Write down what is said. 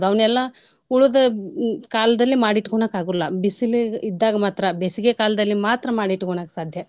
ಅವ್ನೆಲ್ಲಾ ಉಳ್ದ ಕಾಲ್ದಲ್ಲಿ ಮಾಡಿ ಇಟ್ಕೋಣಕ್ ಆಗುಲ್ಲಾ ಬಿಸಿಲಿಗೆ ಇದ್ದಾಗ್ ಮಾತ್ರಾ ಬೇಸಿಗೆ ಕಾಲ್ದಲ್ಲಿ ಮಾತ್ರಾ ಮಾಡಿ ಇಟ್ಕೋಣಕ್ ಸಾದ್ಯ.